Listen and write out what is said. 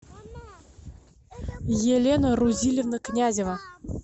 елена рузильевна князева